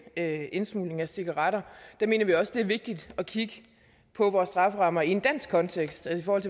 indsmugling af cigaretter mener vi også at det er vigtigt at kigge på vores strafferammer i en dansk kontekst altså